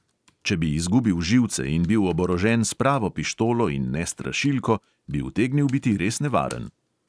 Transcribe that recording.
Če bi izgubil živce in bil oborožen s pravo pištolo in ne strašilko, bi utegnil biti res nevaren.